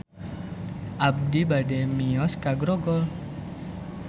Abi bade mios ka Grogol